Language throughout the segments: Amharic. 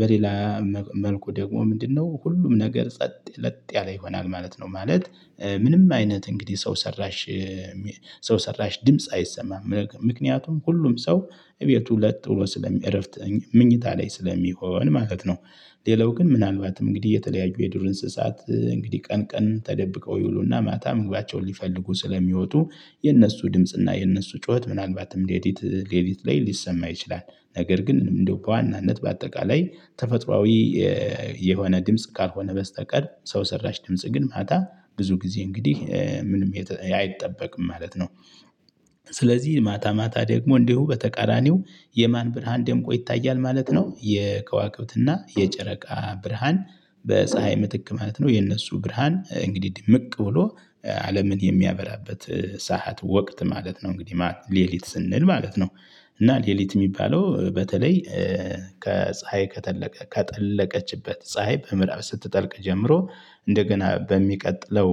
በሌላ መልኩ ደግሞ ምንድነው? ሁሉም ነገር ጸጥ ለጥ ያለ ይሆናል ማለት ነው። ማለት ምንም አይነት እንግዲህ ሰው ሰራሽ ሰው ሰራሽ ድምጽ አይሰማም ምክንያቱም ሁሉም ሰው እቤቱ ለጥ ብሎ ስለሚያረፍት መኝታ ላይ ስለሚሆን ማለት ነው። ሌላው ግን ምናልባትም እንግዲህ የተለያዩ የዱር እንስሳት እንግዲህ ቀን ቀን ተደብቀው ይውሉና ማታ ምግባቸውን ሊፈልጉ ስለሚወጡ የነሱ ድምጽና የነሱ ጩኸት ምናልባትም ለሊት ለሊት ላይ ሊሰማ ይችላል። ነገር ግን እንደው በዋናነት በአጠቃላይ ተፈጥሮአዊ የሆነ ድምጽ ካልሆነ በስተቀር ሰው ሰራሽ ድምጽ ግን ማታ ብዙ ጊዜ እንግዲህ ምንም አይጠበቅም ማለት ነው። ስለዚህ ማታ ማታ ደግሞ እንዲሁ በተቃራኒው የማን ብርሃን ደምቆ ይታያል ማለት ነው። የከዋክብትና የጨረቃ ብርሃን በፀሀይ ምትክ ማለት ነው የነሱ ብርሃን እንግዲህ ድምቅ ብሎ አለምን የሚያበራበት ሰዓት ወቅት ማለት ነው። እንግዲህ ማለት ለሊት ስንል ማለት ነው። እና ለሊት የሚባለው በተለይ ከፀሀይ ከጠለቀ ከጠለቀችበት ፀሀይ በምዕራብ ስትጠልቅ ጀምሮ እንደገና በሚቀጥለው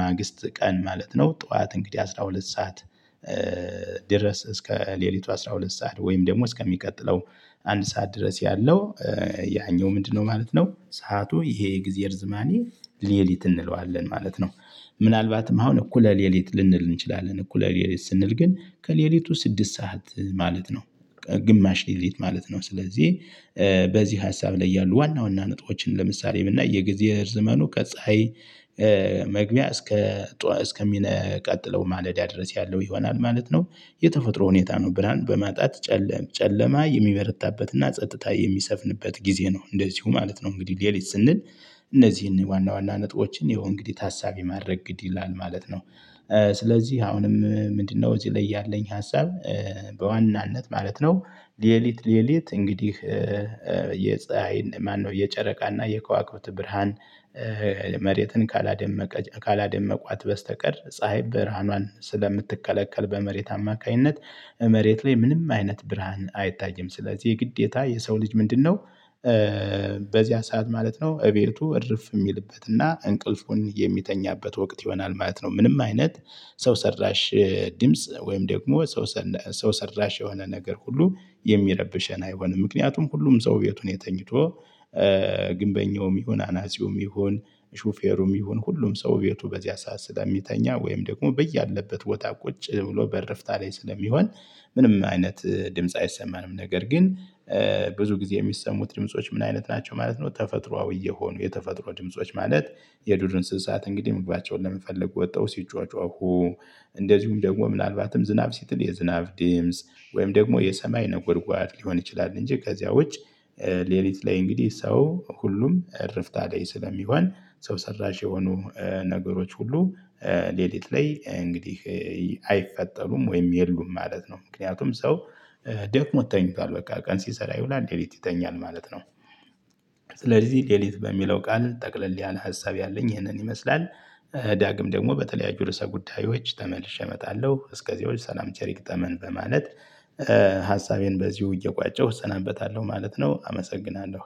ማግስት ቀን ማለት ነው ጠዋት እንግዲህ አስራ ሁለት ሰዓት ድረስ እስከ ለሊቱ አስራ ሁለት ሰዓት ወይም ደግሞ እስከሚቀጥለው አንድ ሰዓት ድረስ ያለው ያኛው ምንድነው ማለት ነው ሰዓቱ ይሄ የግዜ እርዝማኔ ለሊት እንለዋለን ማለት ነው። ምናልባትም አሁን እኩለ ለሊት ልንል እንችላለን እኩለ ለሊት ስንል ግን ከለሊቱ ስድስት ሰዓት ማለት ነው። ግማሽ ለሊት ማለት ነው። ስለዚህ በዚህ ሀሳብ ላይ ያሉ ዋና ዋና ነጥቦችን ለምሳሌ ብናይ የጊዜ እርዝማኑ ከፀሀይ መግቢያ እስከ ቀጥሎ ማለዳ ድረስ ያለው ይሆናል ማለት ነው። የተፈጥሮ ሁኔታ ነው ብርሃን በማጣት ጨለም ጨለማ የሚበረታበት እና ጸጥታ የሚሰፍንበት ጊዜ ነው እንደዚሁ ማለት ነው። እንግዲህ ለሊት ስንል እነዚህን ዋና ዋና ነጥቦችን ይሀው እንግዲህ ታሳቢ ማድረግ ግድ ይላል ማለት ነው። ስለዚህ አሁንም ምንድነው? እዚህ ላይ ያለኝ ሀሳብ በዋናነት ማለት ነው። ለሊት ለሊት እንግዲህ የፀሀይ ማነው የጨረቃና የከዋክብት ብርሃን መሬትን ካላደመቀ ካላደመቋት በስተቀር ፀሀይ ብርሃኗን ስለምትከለከል በመሬት አማካኝነት መሬት ላይ ምንም አይነት ብርሃን አይታይም ስለዚህ ግዴታ የሰው ልጅ ምንድነው? በዚያ ሰዓት ማለት ነው እቤቱ እርፍ የሚልበትና እንቅልፉን የሚተኛበት ወቅት ይሆናል ማለት ነው። ምንም አይነት ሰው ሰራሽ ድምጽ ወይም ደግሞ ሰው ሰራሽ የሆነ ነገር ሁሉ የሚረብሸን አይሆንም ምክንያቱም ሁሉም ሰው ቤቱ ላይ ተኝቶ ግንበኛውም ይሁን አናጺውም ይሁን ሹፌሩም ይሁን ሁሉም ሰው ቤቱ በዚያ ሰዓት ስለሚተኛ ወይም ደግሞ በያለበት ቦታ ቁጭ ብሎ በእርፍታ ላይ ስለሚሆን ምንም አይነት ድምጽ አይሰማንም። ነገር ግን ብዙ ጊዜ የሚሰሙት ድምጾች ምን አይነት ናቸው ማለት ነው። ተፈጥሮአዊ የሆኑ የተፈጥሮ ድምጾች ማለት የዱር እንስሳት እንግዲህ መግባቸውን ለመፈለ ወተው ሲጯጨሁ እንደዚሁም ደግሞ ምናልባትም ዝናብ ሲጥል የዝናብ ድምጽ ወይም ደግሞ የሰማይ ነጎድጓድ ሊሆን ይችላል። እንጂ ከዚያው ውጭ ሌሊት ላይ እንግዲህ ሰው ሁሉም እርፍታ ላይ ስለሚሆን ሰው ሰራሽ የሆኑ ነገሮች ሁሉ ሌሊት ላይ እንግዲህ አይፈጠሩም ወይም የሉም ማለት ነው። ምክንያቱም ሰው ደክሞ ተኝቷል በቃ ቀን ሲሰራ ይዉላል ለሊት ይተኛል ማለት ነው። ስለዚህ ለሊት በሚለው ቃል ጠቅለል ያለ ሀሳብ ያለኝ ይህንን ይመስላል። ዳግም ደግሞ በተለያዩ ድርሰ ጉዳዮች ተመልሼ እመጣለሁ እስከዚያው ሰላም ቸር ይግጠመን በማለት ሀሳቤን በዚሁ እየቋጨሁ እሰናበታለሁ ማለት ነው። አመሰግናለሁ